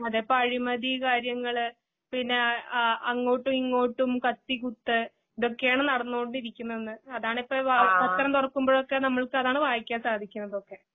അതെ. പ്പഴിമതീ കാര്യങ്ങള് പിന്നെ ആഹ് അങ്ങോട്ടുഇങ്ങോട്ടും കത്തിക്കുത്ത് ഇതൊക്കെയാണ്നടന്നോണ്ടിരിക്കുന്നന്ന് അതാണിപ്പം പത്രംതുറക്കുമ്പഴൊക്കെ നമ്മൾക്കതാണുവായിക്കാൻസാദിക്കുന്നതൊക്കെ.